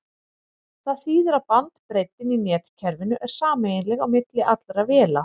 það þýðir að bandbreiddin í netkerfinu er sameiginleg á milli allra véla